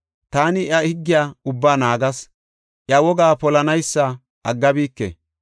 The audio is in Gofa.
Taani iya higgiya ubbaa naagas; iya wogaa polanaysa aggabike.